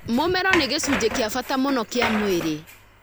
Mũmero nĩ gĩcunjĩ kĩa bata mũno kĩa mwĩrĩ.